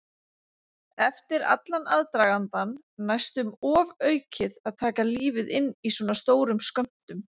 Eftir allan aðdragandann næstum ofaukið að taka lífið inn í svona stórum skömmtum.